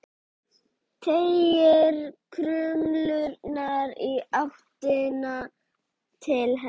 Teygir krumlurnar í áttina til hennar.